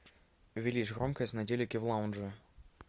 увеличь громкость на телике в лаунже